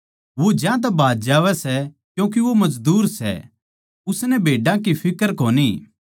वो ज्यांतै भाज जावै सै क्यूँके वो मजदूर सै उसनै भेड्डां की फिक्र कोनी